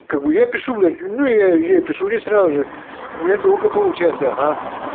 я пишу блин ну я ей пишу и сразу же у меня долго получается ага